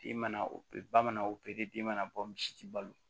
Den mana o pere ba mana opere den mana bɔ misi tɛ balo